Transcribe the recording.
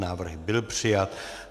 Návrh byl přijat.